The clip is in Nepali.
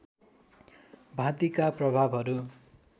भाँतिका प्रभावहरू